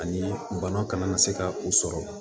Ani bana kana na se ka u sɔrɔ